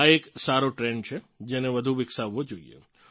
આ એક સારો ટ્રેન્ડ છે જેને વધુ વિકસાવવો જોઇએ